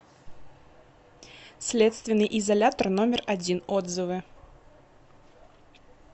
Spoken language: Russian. следственный изолятор номер один отзывы